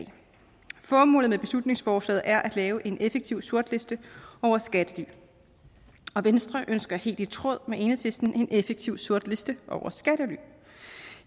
formålet med beslutningsforslaget er at lave en effektiv sortliste over skattely venstre ønsker helt i tråd med enhedslisten en effektiv sortliste over skattely